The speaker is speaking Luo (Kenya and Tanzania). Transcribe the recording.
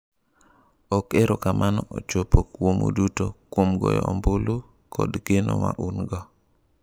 """Ok erokamano ochopo kuomu duto, kuom goyo ombulu kod geno ma un-go."